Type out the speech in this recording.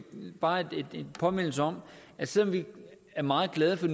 bare en påmindelse om at selv om vi er meget glade for